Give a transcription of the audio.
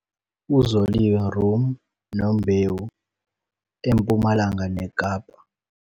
UZoliwe Rhum Nombewu - EMpumalanga neKapa